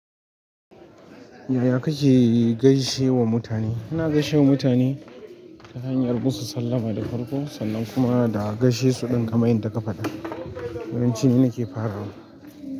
Yaya kake gaishe wa mutane? Ina gaishe wa mutane ta hanyar musu sallama da farko sannan kuma da gaishe su ɗin kaman yanda ka faɗa. Yawanci ni nake farawa.